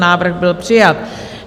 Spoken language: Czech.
Návrh byl přijat.